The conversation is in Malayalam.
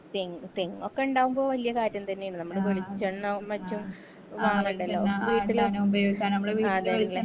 തെങ് തെങ്ങൊക്കെ ഇണ്ടാവുമ്പോ വല്യ കാര്യം തെന്നെണ് നമ്മടെ വെളിച്ചെണ്ണ മറ്റും വാങ്ങണ്ടലോ വീട്ടിലും അതെ ല്ലേ